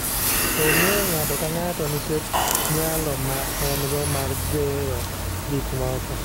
Ong'e ng'ato ka ng'ato nikech nyalo ma en-go mar gero gik moko.